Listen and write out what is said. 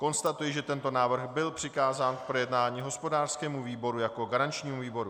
Konstatuji, že tento návrh byl přikázán k projednání hospodářskému výboru jako garančnímu výboru.